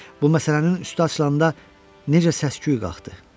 Bu məsələnin üstü açılanda necə səs-küy qalxdı?